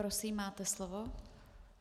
Prosím, máte slovo.